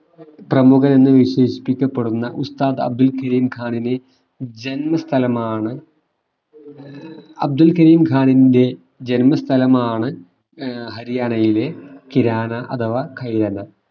പ്രമുഖനെന്നു വിശേഷിക്കപ്പെടുന്ന ഉസ്താദ് അബ്ദുൽ ഖരീം ഖാനിനെ ജന്മസ്ഥലമാണ് അബ്ദുൽ ഖരീം ഖാനിന്റെ ജന്മസ്ഥലമാണ് ഏർ ഹരിയാനയിലെ കിരാന അഥവാ ഖാരിയാന